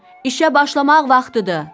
İşə başlamaq vaxtıdır.